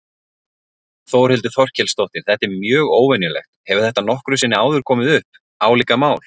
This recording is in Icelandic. Þórhildur Þorkelsdóttir: Þetta er mjög óvenjulegt, hefur þetta nokkru sinni áður komið upp, álíka mál?